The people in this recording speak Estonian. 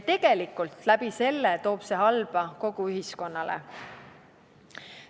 Tegelikult toob see seeläbi kaasa halba kogu ühiskonnale.